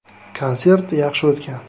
Konsert yaxshi o‘tgan.